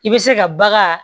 I bɛ se ka bagan